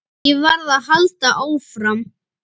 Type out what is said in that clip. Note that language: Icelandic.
Ég varð að halda áfram.